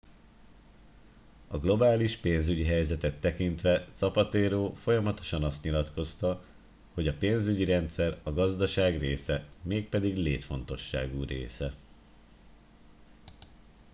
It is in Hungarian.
"a globális pénzügyi helyzetet tekintve zapatero folyamatosan azt nyilatkozta hogy "a pénzügyi rendszer a gazdaság része mégpedig létfontosságú része.